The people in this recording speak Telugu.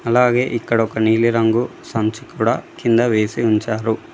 అలాగే ఇక్కడ ఒక నీలిరంగు సంచి కూడా కింద వేసి ఉంచారు.